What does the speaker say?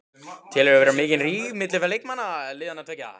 Telurðu vera mikinn ríg milli leikmanna liðanna tveggja?